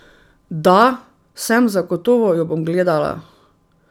Da, sem, zagotovo jo bom gledala.